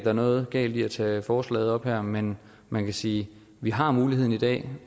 er noget galt i at tage forslaget op her men man kan sige vi har muligheden i dag